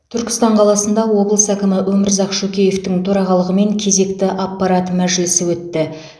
түркістан қаласында облыс әкімі өмірзақ шөкеевтің төрағалығымен кезекті аппарат мәжілісі өтті